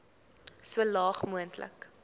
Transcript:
so laag moontlik